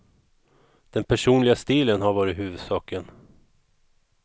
Den personliga stilen har varit huvudsaken.